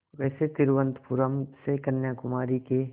वैसे तिरुवनंतपुरम से कन्याकुमारी के